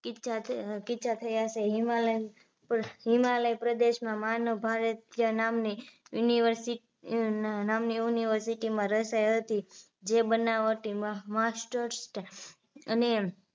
કિસ્સા કિસ્સા થયા છે હિમાલયમાં હિમાલય પ્રદેશમાં માનવભારજ્ય નામની university નામની university માં રચાઈ હતી જે બનાવટી masters અને